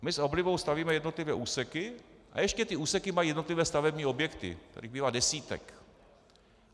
My s oblibou stavíme jednotlivé úseky a ještě ty úseky mají jednotlivé stavební objekty, kterých bývají desítky.